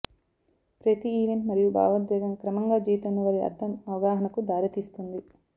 ప్రతి ఈవెంట్ మరియు భావోద్వేగం క్రమంగా జీవితంలో వారి అర్థం అవగాహనకు దారితీస్తుంది